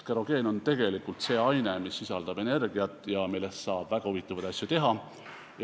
Kerogeen on see aine, mis sisaldab energiat ja millest saab väga huvitavaid asju teha.